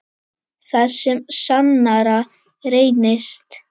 Það sem sannara reynist